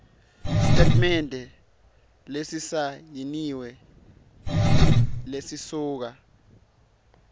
sitatimende lesisayiniwe lesisuka